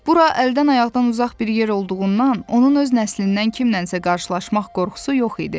Bura əldən-ayaqdan uzaq bir yer olduğundan, onun öz nəslindən kimlənsə qarşılaşmaq qorxusu yox idi.